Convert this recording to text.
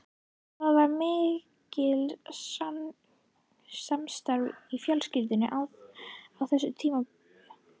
Það var mikil samstaða í fjölskyldunni á þessum tíma.